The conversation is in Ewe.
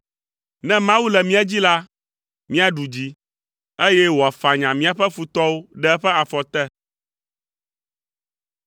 Ne Mawu le mía dzi la, míaɖu dzi, eye wòafanya míaƒe futɔwo ɖe eƒe afɔ te.